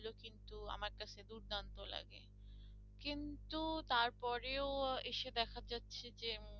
কিন্তু তারপর তার পরেও এসে দেখা যাচ্ছে যে